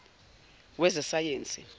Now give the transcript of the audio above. wezesayensi